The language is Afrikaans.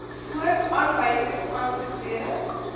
soort aanwysingsaansoek rede